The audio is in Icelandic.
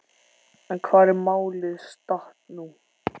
En hvar er málið statt nú?